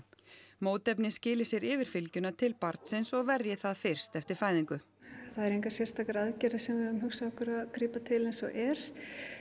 mótefni skili sér yfir fylgjuna til barnsins og verji það fyrst eftir fæðingu það eru engar sérstakar aðgerðir sem við höfum hugsað okkur að grípa til eins og er